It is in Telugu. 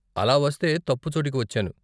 అలా వస్తే తప్పు చోటుకి వచ్చాను.